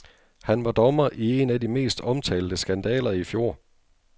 Han var dommer i en af de mest omtalte skandaler i fjor.